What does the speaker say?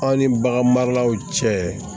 Aw ni bagan maralaw cɛ